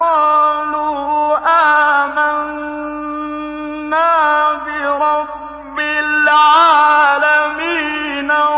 قَالُوا آمَنَّا بِرَبِّ الْعَالَمِينَ